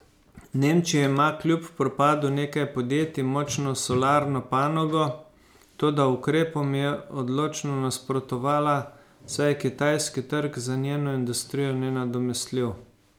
Nemčija ima kljub propadu nekaj podjetij močno solarno panogo, toda ukrepom je odločno nasprotovala, saj je kitajski trg za njeno industrijo nenadomestljiv.